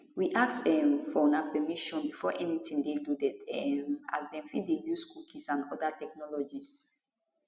we ask um for una permission before anytin dey loaded um as dem fit dey use cookies and oda technologies